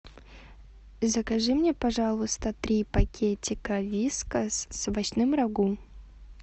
закажи мне пожалуйста три пакетика вискас с овощным рагу